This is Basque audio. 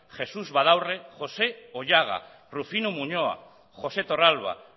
jesús vadaurre josé oyaga rufino muñoa josé torralba